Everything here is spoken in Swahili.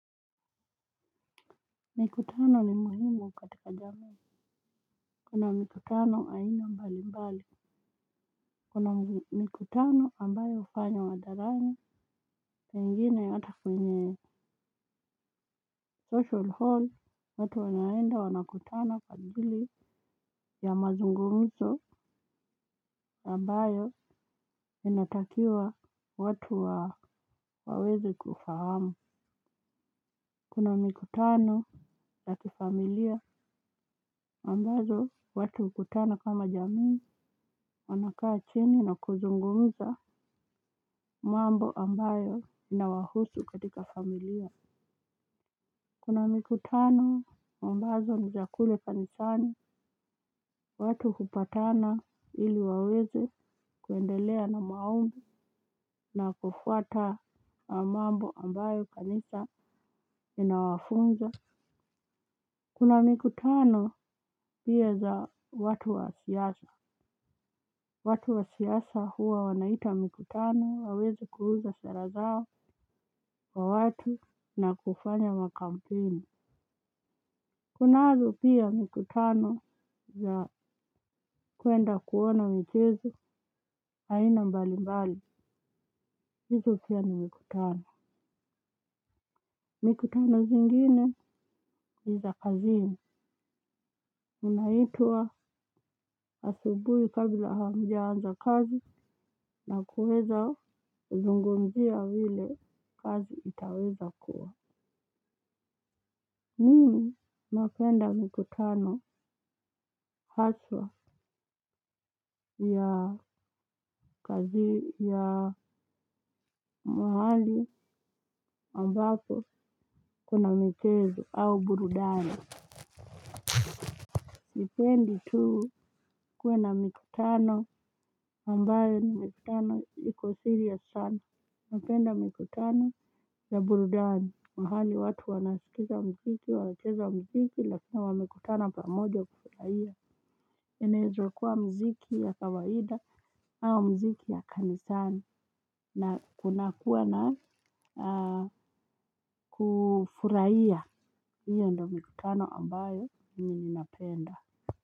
Mikutano ni muhimu katika jamii. Kuna mikutano aina mbali mbali. Kuna mikutano ambayo hufanywa hadharani. Pengine hata kwenye social hall. Watu wanaenda wanakutana kwa ajili ya mazungumizo ambayo inatakiwa watu waweze kufahamu. Kuna mikutano ya kifamilia ambayo watu hukutana kama jamii wanakaa chini na kuzungumza mambo ambayo inawahusu katika familia. Kuna mikutano ambazo ni za kule kanisani watu hupatana ili waweze kuendelea na maombi na kufuata mambo ambayo kanisa inawafunza. Kuna mikutano pia za watu wa siasa, watu wa siasa huwa wanaita mikutano waweze kuuza sera zao kwa watu na kufanya makampeini. Kunazo pia mikutano za kuenda kuona michezo aina mbali mbali, hizo pia na mikutano. Mikutano zingine ni za kazini unaitwa asubuhi kabla hamjaanza kazi na kuweza kuzungumzia vile kazi itaweza kuwa mimi napenda mikutano haswa ya kazi ya mahali ambapo kuna michezo au burudani. Nipende tu kuwe na mikutano ambayo ni mikutano iko siri ya sana. Napenda mikutano ya burudani. Mahali watu wanasikiza mziki, wanacheza mziki, lakina wamekutana pamoja kufurahia. Inaeza kuwa mziki ya kawaida au mziki ya kanisani. Na kunakuwa na kufurahia. Iyo ndo mikutano ambayo mimi napenda.